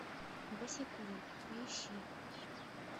босиком поищи